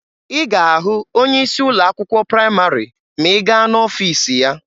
Ị ga-ahụ onye isi ụlọ akwụkwọ praịmarị ma ị gaa n'ọfiisi ya.